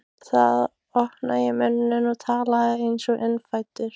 Þá opnaði ég munninn og talaði einsog innfæddur